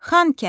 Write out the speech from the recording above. Xankəndi.